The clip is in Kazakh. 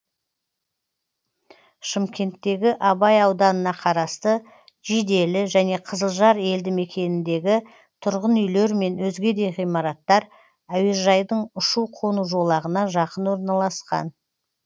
шымкенттегі абай ауданына қарасты жиделі және қызылжар елді мекеніндегі тұрғын үйлер мен өзге де ғимараттар әуежайдың ұшу қону жолағына жақын орналасқан